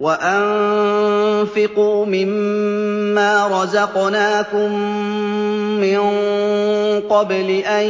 وَأَنفِقُوا مِن مَّا رَزَقْنَاكُم مِّن قَبْلِ أَن